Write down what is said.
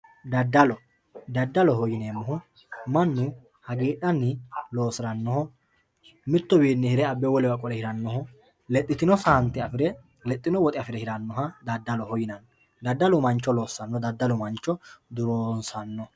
Dadallo, dadalloho yineemo manu hagiidhanni loosiranoho mituwiini hire abe wolewa qole hiranoha lexitino saanite affire dadaloho yinanni lexitino saante afire lexxino woxxe affire hiranoha dadalloho yinanni dadallu mancho losanno dadallu mancho durreessano